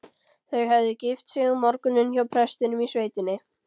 Þau höfðu gift sig um morguninn hjá prestinum í sveitinni.